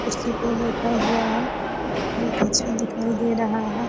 कुर्सी पे बैठा हुआ है बहुत अच्छा दिखाई दे रहा है।